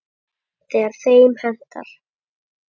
Þegar þeim hentar.